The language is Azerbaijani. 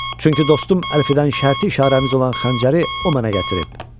Çünki dostum Əlfidən şərti işarəmiz olan xəncəri o mənə gətirib.